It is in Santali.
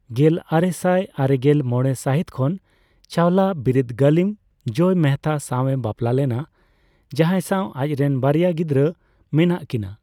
ᱜᱮᱞᱟᱨᱮᱥᱟᱭ ᱟᱨᱮᱜᱮᱞ ᱢᱚᱲᱮ ᱥᱟᱹᱦᱤᱛ ᱠᱷᱚᱱ ᱪᱟᱣᱞᱟ ᱵᱤᱨᱤᱫᱜᱟᱹᱞᱤᱢ ᱡᱚᱭ ᱢᱮᱦᱮᱛᱟ ᱥᱟᱣ ᱮ ᱵᱟᱯᱞᱟ ᱞᱮᱱᱟ, ᱡᱟᱦᱟᱸᱭ ᱥᱟᱣ ᱟᱡᱨᱮᱱ ᱵᱟᱨᱭᱟ ᱜᱤᱫᱽᱨᱟᱹ ᱢᱮᱱᱟᱜ ᱠᱤᱱᱟ ᱾